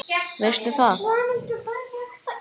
Veistu það?